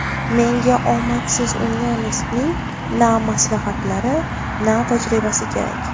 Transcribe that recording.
Menga omadsiz unionistning na maslahatlari, na tajribasi kerak.